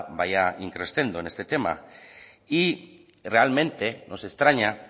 vaya in crescendo en este tema y realmente nos extraña